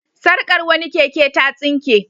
Sarkar wani keke ta tsinke.